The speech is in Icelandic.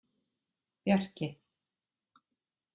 Bjarki